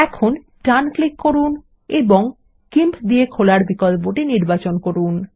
এখন ডান ক্লিক করুন এবং গিম্প দিয়ে খোলার বিকল্পটি নির্বাচন করুন